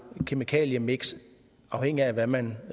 kemikaliemiks afhængigt af hvad man